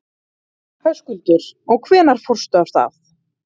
Höskuldur: Og hvenær fórstu af stað?